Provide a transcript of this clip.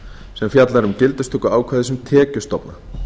sem fjallar um gildistöku ákvæðis um tekjustofna